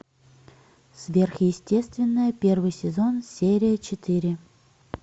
сверхъестественное первый сезон серия четыре